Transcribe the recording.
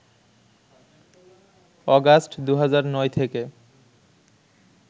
August ২০০৯ থেকে